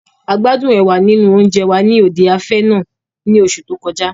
A gbádún ẹ̀wà nínú oúnjẹ wa ni òde afẹ́ náà ní oṣu to kọjá.